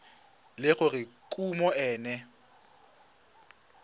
le gore kumo e ne